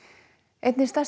einni stærstu